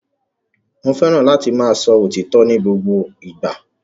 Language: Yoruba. Mo fẹràn láti máa sọ òtítọ ni gbogbo ìgbà.